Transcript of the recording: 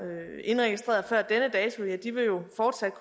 indregistreret før denne dato jo fortsat